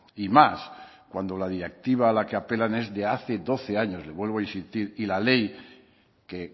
y más cuando la directiva a la que apelan es de hace doce años le vuelvo a insistir y la ley que